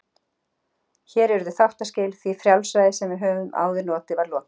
Hér urðu þáttaskil, því frjálsræði sem við höfðum áður notið var lokið.